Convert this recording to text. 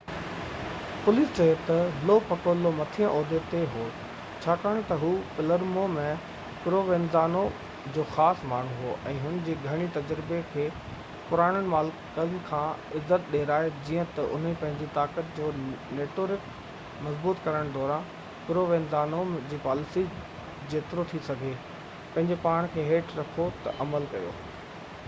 police چيو Lo Piccolo مٿيئن عهدي تي هو ڇاڪاڻ تہ هي پلرمو ۾ پرووينزانو جو خاص ماڻهو هو ۽ هن جي گهڻي تجربي هن کي پراڻن مالڪن کان عزت ڏيرائي جيئن تہ انهن پنهنجي طاقت جو نيٽورڪ مضبوط ڪرڻ دوران پرووينزانو جي پاليسي جيترو ٿي سگهي پنهنجي پاڻ کي هيٺ رکو تي عمل ڪيو